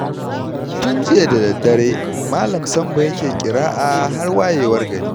Tun jiya da daddare Malam Sambo yake ƙira'a har wayewar gari